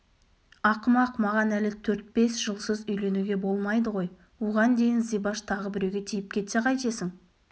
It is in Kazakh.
ақымақ маған әлі төрт-бес жылсыз үйленуге болмайды ғой оған дейін зибаш тағы біреуге тиіп кетсе қайтесің